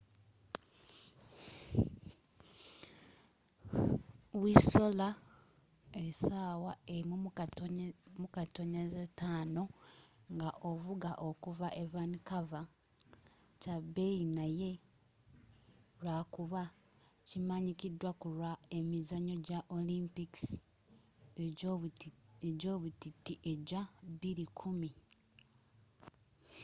whistler essaawa 1.5 nga ovuga okuva e vancouver kya beeyi naye lwakuba kimanyikiddwa kulwa emizanyo gya olimpikisi egyobutiti egya 2010